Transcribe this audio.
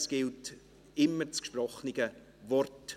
es gilt immer das gesprochene Wort.